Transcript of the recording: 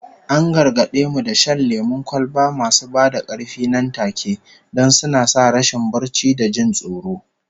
An gargade mu da shan lemon kwalba masu ba da karfi nan take, don suna sa rashin barci da jin tsoro